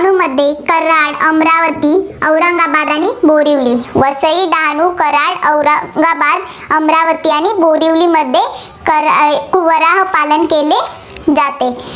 कराड, अमरावती, औरंगाबाद आणि बोरीवली. वसई, डहाणू, कराड, औरंगाबाद, अमरावती आणि बोरीवलीमध्ये कारयवराह पालन केले जाते.